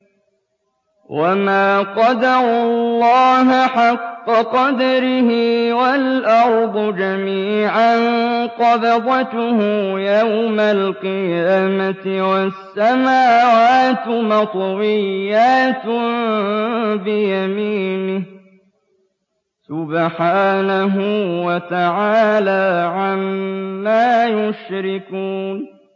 وَمَا قَدَرُوا اللَّهَ حَقَّ قَدْرِهِ وَالْأَرْضُ جَمِيعًا قَبْضَتُهُ يَوْمَ الْقِيَامَةِ وَالسَّمَاوَاتُ مَطْوِيَّاتٌ بِيَمِينِهِ ۚ سُبْحَانَهُ وَتَعَالَىٰ عَمَّا يُشْرِكُونَ